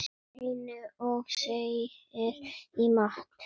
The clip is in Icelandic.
Eins og segir í Matt.